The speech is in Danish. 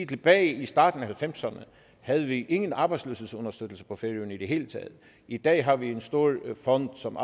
tilbage i starten af halvfemserne havde vi ingen arbejdsløshedsunderstøttelse på færøerne i det hele taget i dag har vi en stor fond som